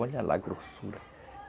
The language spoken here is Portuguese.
Olha lá a grossura.